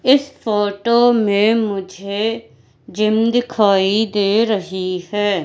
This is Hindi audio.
इस फोटो में मुझे जिम दिखाई दे रही है।